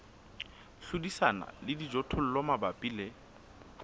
hlodisana le dijothollo mabapi le